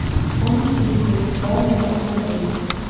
кон тики дай мне посмотреть